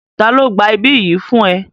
Ta ló gba ibí yìí fún ẹ?